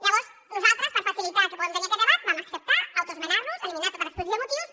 llavors nosaltres per facilitar que puguem tenir aquest debat vam acceptar autoesmenar nos eliminar tota l’exposició de motius